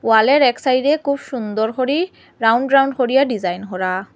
হলের এক সাইডে খুব সুন্দর হরি রাউন্ড রাউন্ড হরিয়া ডিজাইন হরা।